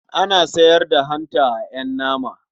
Ana sayar da hanta a ƴan nama.